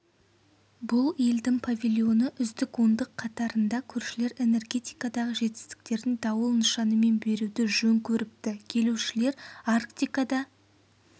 бұл елдің павильоны үздік ондық қатарында көршілер энергетикадағы жетістіктерін дауыл нышанымен беруді жөн көріпті келушілер арктикада